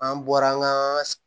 An bɔra an ka